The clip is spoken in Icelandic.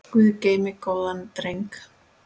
Guð geymi góðan dreng.